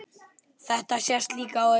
Þetta sést líka á öðru.